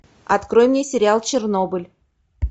открой мне сериал чернобыль